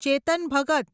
ચેતન ભગત